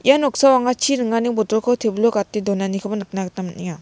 ia noksao anga chi ringani botolko tebil o gate donanikoba nikna gita man·enga.